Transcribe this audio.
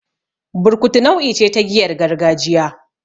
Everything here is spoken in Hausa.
Burkutu nau'i ce ta giyar gargajiya.